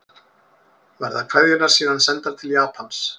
Verða kveðjurnar síðan sendar til Japans